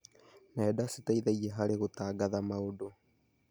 Nenda citeithagia harĩ gũtangatha maũndũ.